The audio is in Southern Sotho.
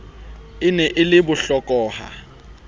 e ne e le bohlokoha